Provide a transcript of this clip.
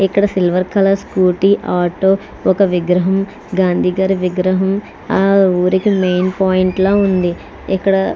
ఇక్కడ silver colour scooty auto ఒక విగ్రహం గాంధీ గారి విగ్రహం ఆ ఊరికి మెయిన్ పాయింట్ లా ఉంది. ఇక్కడా --